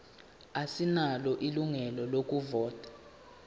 asinalo ilungelo lokuvota